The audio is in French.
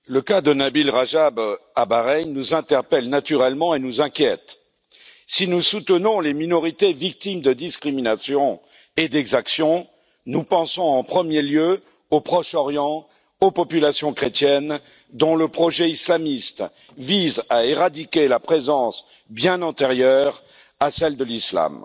Monsieur le Président, le cas de Nabil Rajab à Bahreïn nous interpelle naturellement et nous inquiète. Si nous soutenons les minorités victimes de discriminations et d'exactions, nous pensons en premier lieu, au Proche Orient, aux populations chrétiennes, dont le projet islamiste vise à éradiquer la présence, bien antérieure, à celle de l'Islam.